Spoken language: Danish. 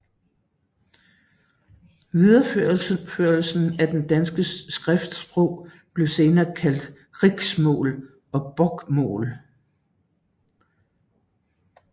Videreførelsen af det danske skriftsprog blev senere kaldt riksmål og bokmål